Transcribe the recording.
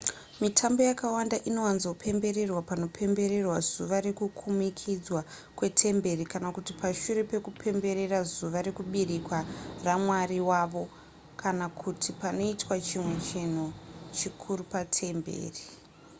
mitambo yakawanda inowanzopembererwa panopembererwa zuva rekukumikidzwa kwetemberi kana kuti pashure pekupemberera zuva rekuberekwa ramwari wavo kana kuti panoitwa chimwe chinhu chikuru patemberi